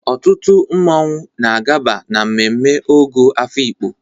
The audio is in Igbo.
Ọtụtụ mmọnwụ na-agaba na mmemme Ogo Afikpo.